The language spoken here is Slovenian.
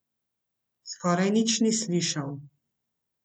Skoraj nič ni slišal.